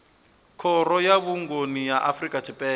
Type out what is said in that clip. khoro ya vhuongi ya afrika tshipembe